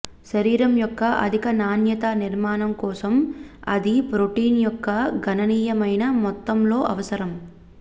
శరీరం యొక్క అధిక నాణ్యత నిర్మాణం కోసం అది ప్రోటీన్ యొక్క గణనీయమైన మొత్తంలో అవసరం